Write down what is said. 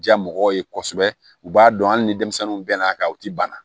Diya mɔgɔw ye kosɛbɛ u b'a dɔn hali ni denmisɛnninw bɛn'a kan u ti banna